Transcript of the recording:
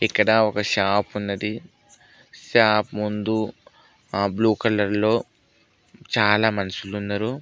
ఇక్కడ ఒక షాప్ ఉన్నది షాప్ ముందు ఆ బ్లూ కలర్ లో చాలా మనుషులున్నరు.